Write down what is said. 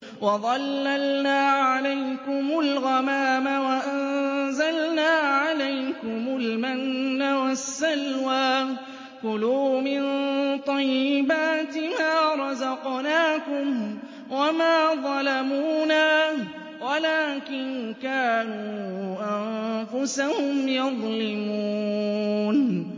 وَظَلَّلْنَا عَلَيْكُمُ الْغَمَامَ وَأَنزَلْنَا عَلَيْكُمُ الْمَنَّ وَالسَّلْوَىٰ ۖ كُلُوا مِن طَيِّبَاتِ مَا رَزَقْنَاكُمْ ۖ وَمَا ظَلَمُونَا وَلَٰكِن كَانُوا أَنفُسَهُمْ يَظْلِمُونَ